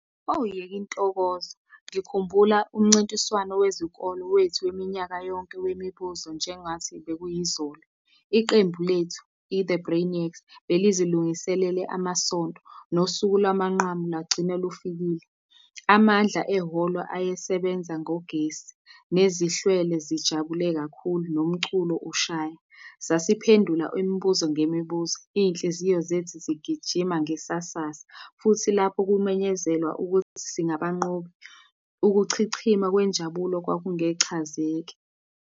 Oh, yeka intokozo, ngikhumbula umncintiswano wezikolo wethu weminyaka yonke wemibuzo nje ngathi bekuyizolo. Iqembu lethu, i-The Brainiacs, belizilungiselele amasonto, nosuku lwamanqamu lagcina lufikile. Amandla ehholo ayesebenza ngogesi, nezihlwele zijabule kakhulu nomculo ushaya. Sasiphendula imibuzo ngemibuzo, iy'nhliziyo zethu zigijima ngesasasa, futhi lapho kumenyezelwa ukuthi singabanqobi, ukuchichima kwenjabulo kwakungechazeke.